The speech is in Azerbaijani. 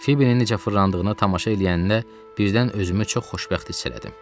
Fibinin necə fırlandığına tamaşa eləyəndə birdən özümü çox xoşbəxt hiss elədim.